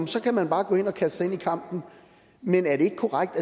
så kan man bare kaste sig ind i kampen men er det ikke korrekt